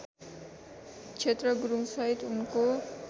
क्षेत्र गुरुङसहित उनको